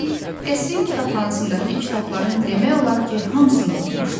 üstəlik, qəsrin kitabxanasındakı kitabların demək olar ki, hamısını oxumuşdu.